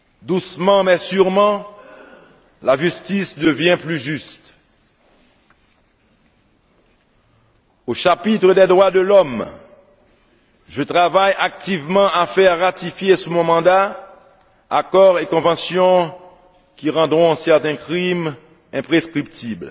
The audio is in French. Doucement mais sûrement, la justice devient plus juste! Au chapitre des droits de l'homme, je travaille activement à faire ratifier, sous mon mandat, accords et conventions qui rendront certains crimes imprescriptibles.